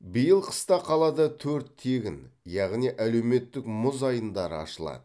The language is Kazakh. биыл қыста қалада төрт тегін яғни әлеуметтік мұз айдындары ашылады